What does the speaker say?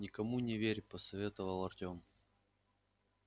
никому не верь посоветовал артем